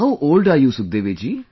how old are you Sukhdevi ji